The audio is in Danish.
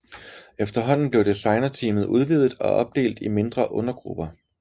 Efterhånden blev designerteamet udvidet og opdelt i mindre undergrupper